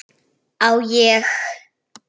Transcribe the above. Á ég?